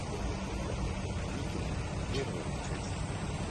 викинги первая часть